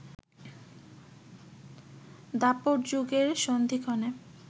দ্বাপর যুগের সন্ধিক্ষণে